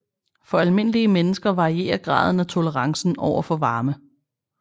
For almindelige mennesker varierer graden af tolerancen over for varme